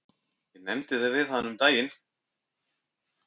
Ég nefndi það við hana um daginn.